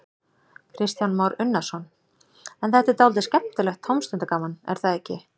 Kristján Már Unnarsson: En þetta er dálítið skemmtilegt tómstundagaman, er það ekki?